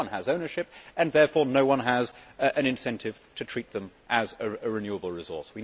No one has ownership and therefore, no one has an incentive to treat fisheries as a renewable resource.